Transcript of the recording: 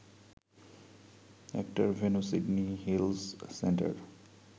একটার venue Sydney Hills centre